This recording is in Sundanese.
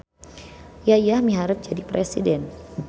Yayah miharep jadi presiden